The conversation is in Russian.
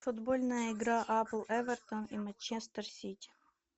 футбольная игра апл эвертон и манчестер сити